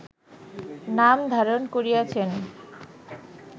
নাম ধারণ করিয়াছেন